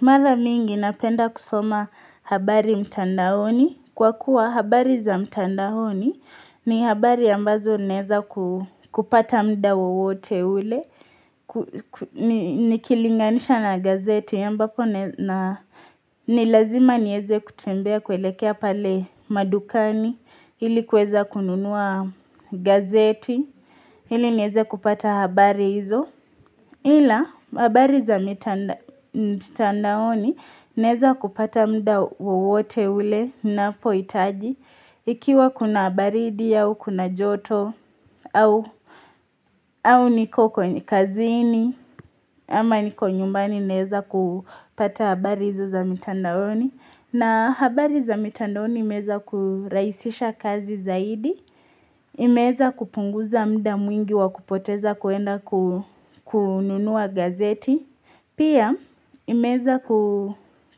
Mara mingi napenda kusoma habari mtandaoni. Kwa kuwa habari za mtandahoni ni habari ambazo naweza kupata muda wowote ule. Nikilinganisha na gazeti ambapo na ni lazima niweze kutembea kuelekea pale madukani ili kuweza kununua gazeti ili niweze kupata habari hizo. Ila, habari za mitandaoni naweza kupata myda wowote ule ninapohitaji. Ikiwa kuna baridi au, kuna joto, au niko kwenye kazini, ama niko nyumbani naweza kupata habari za mitandaoni. Na habari za mitandaoni imeweza kurahisisha kazi zaidi, imeweza kupunguza muda mwingi wa kupoteza kwenda kununua gazeti. Pia imeweza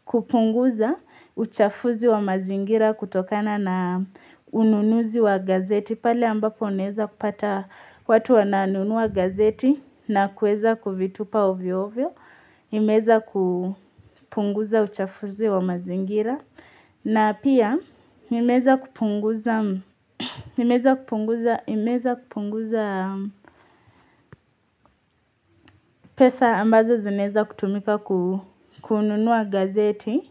kupunguza uchafuzi wa mazingira kutokana na ununuzi wa gazeti. Pale ambapo unaweza kupata watu wananunua gazeti na kuweza kuvitupa ovyo ovyo. Imeweza kupunguza uchafuzi wa mazingira. Na pia imeweza kupunguza pesa ambazo zinaweza kutumika kununua gazeti.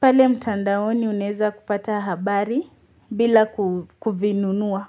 Pale mtandaoni unaweza kupata habari bila kununua.